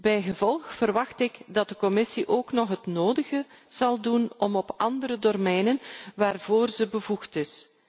Bijgevolg verwacht ik dat de Commissie ook nog het nodige zal doen op andere domeinen waarvoor zij bevoegd is.